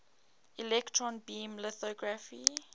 electron beam lithography